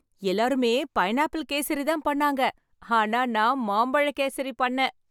எல்லாருமே பைனாப்பிள் கேசரி தான் பண்ணாங்க ஆனா நான் மாம்பழ கேசரி பண்ணேன்